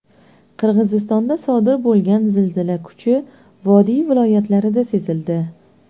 Qirg‘izistonda sodir bo‘lgan zilzila kuchi vodiy viloyatlarida sezildi.